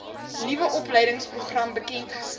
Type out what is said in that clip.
nuwe opleidingsprogram bekendgestel